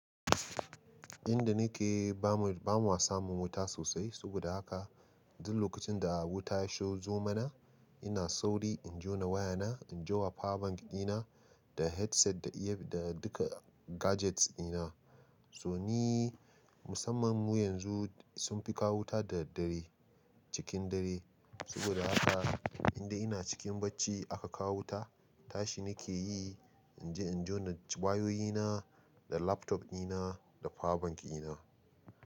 Inda nake bamu, ba mu samu wuta sosai. Saboda haka duk lokacin da wuta ya shizo mana, ina sauri in jona wayana, in jona power bank dina da headset da ear da duka gadgets dina. So ni musamman mu yanzu sun fi kawo wuta da daddare cikin dare. Saboda haka indai ina cikin bacci aka kawo wuta, tashi nake yi in je in jona wayoyina da laptop dina da power bank dina.